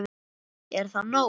Er það nóg?